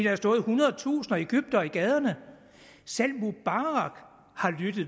har stået ethundredetusind egyptere i gaderne selv mubarak har lyttet